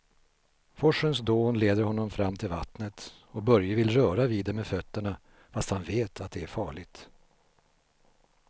Forsens dån leder honom fram till vattnet och Börje vill röra vid det med fötterna, fast han vet att det är farligt.